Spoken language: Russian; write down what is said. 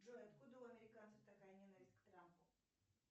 джой откуда у американцев такая ненависть к трампу